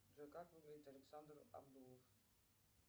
джой как выглядит александр абдулов